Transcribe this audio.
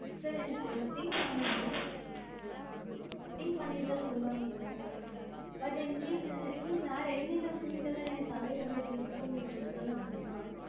sir எனக்கு கொஞ்சம் think பண்ணனும். think பண்ணிட்டு தான் சொல்லமுடியும். but incase இன்னும் வேற என்னென்ன field எல்லாம் எனக்கு availablity இருக்கும்னு நீங்க எனக்கு கொஞ்சம் சொல்ல முடியுமா?